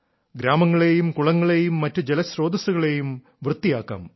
ഗ്രാമങ്ങളെയും കുളങ്ങളെയും മറ്റു ജലസ്രോതസ്സുകളെയും വൃത്തിയാക്കാം